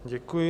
Děkuji.